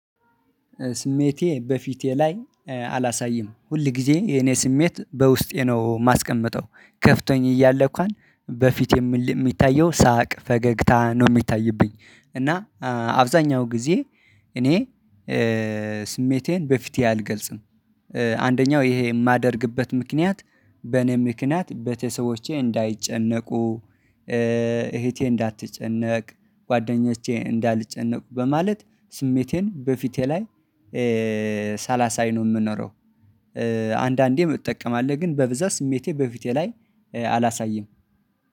ስሜቴን በፊቴ ላይ አላሳይም ሁል ጊዜ የኔ ስሜት በውስጤ ነው የማስቀምጠው ከፍቶኝ እያለ እንኳን በፊት የሚታየው ሳቅ ፈገግታ ነው የሚታይብኝ እና አብዛኛው ጊዜ እኔ ስሜቴን በፊቴ አልገልጽም። አንደኛው ይሄ የማደርግበት ምክንያት በኔ ምክንያት በተሰቦቼ እንዳይጨነቁ እህቴ እንዳትጨነቅ፣ ጓደኞቼ እንዳልጨነቁ በማለት ስሜቴን በፊቴ ላይ ሳላሳይ ነው የምኖረው አንዳንዴም እጠቀማለሁ ግን በብዛት ስሜቴ በፊቴ ላይ አላሳይም